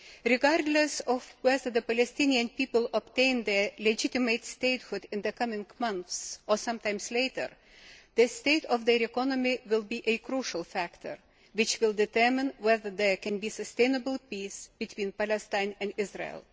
Regardless of whether the Palestinian people obtain their legitimate statehood in the coming months or some time later, the state of their economy will be a crucial factor which will determine whether there can be sustainable peace between Palestine and Israel.